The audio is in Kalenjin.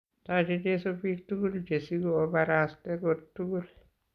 Taachei Jesu biik tukul che sigu obaraste kot tukul